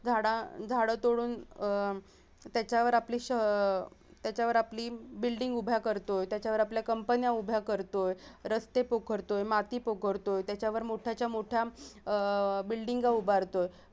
झाडं झाडं तोडून अह त्याच्यावर आपले श अह त्याच्यावर आपली building उभ्या करतो त्याच्यावर आपले company उभ्या करतो रस्ते पोखरतो, माती पोखरतो त्याच्यावर मोठ्याच्या मोठ्या अह building उभरतोय